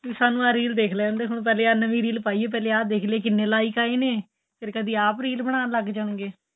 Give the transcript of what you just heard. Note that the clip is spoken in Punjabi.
ਤੂੰ ਸਾਨੂੰ ਆਂ reel ਦੇਖ ਲੈਣ ਦੇ ਹੁਣ ਪਹਿਲੇ ਆਂ ਨਵੀਂ reel ਪਾਈ ਏ ਪਹਿਲੇ ਆਂ ਦੇਖ ਲਈਏ ਕਿੰਨੇ like ਆਏ ਨੇ ਫ਼ੇਰ ਕਦੀਂ ਆਪ reel ਬਣਾਣ ਲੱਗ ਜਾਣ ਗਏ